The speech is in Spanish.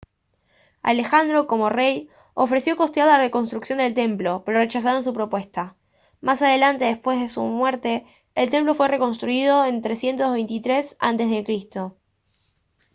alejandro como rey ofreció costear la reconstrucción del templo pero rechazaron su propuesta más adelante después de su muerte el templo fue reconstruido en 323 a c